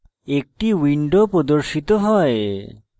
একটি window প্রর্দশিত হয়